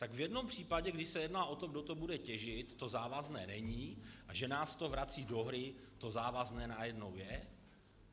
Tak v jednom případě, kdy se jedná o to, kdo to bude těžit, to závazné není, a že nás to vrací do hry, to závazné najednou je?